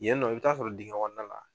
Yen nɔ i bi taa sɔrɔ dingɛn kɔnɔna la